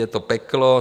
Je to peklo.